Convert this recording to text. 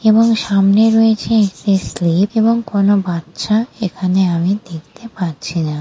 এবং সামনে রয়েছে একটি স্লিপ এবং কোনু বাচ্চা এখানে আমি দেখতে পাচ্ছি না ।